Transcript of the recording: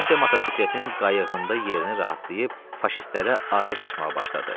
Vasya motosikletin qayıqında yerini rahatlayıb faşistlərə atəş açmağa başladı.